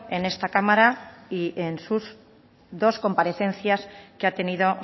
en esta cámara y en sus dos comparecencias que ha tenido